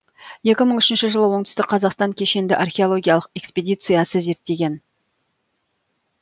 екі мың үшінші жылы оңтүстік қазақстан кешенді археологиялық экспедициясы зерттеген